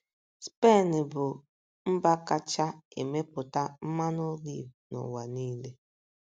Spen bụ́ mba kacha emepụta mmanụ oliv n’ụwa niile.